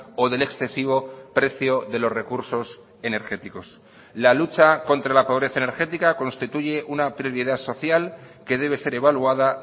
o del excesivo precio de los recursos energéticos la lucha contra la pobreza energética constituye una prioridad social que debe ser evaluada